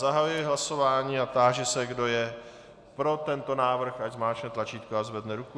Zahajuji hlasování a táži se, kdo je pro tento návrh, ať zmáčkne tlačítko a zvedne ruku.